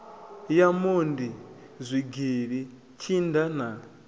ya mondi zwigili tshinda na